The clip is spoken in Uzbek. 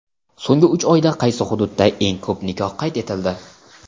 So‘nggi uch oyda qaysi hududda eng ko‘p nikoh qayd etildi?.